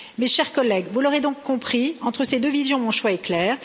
Mes chers collègues, vous l'aurez donc compris entre ces deux visions, mon choix est clair.